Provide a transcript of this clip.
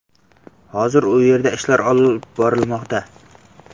Hozir u yerda ishlar olib borilmoqda.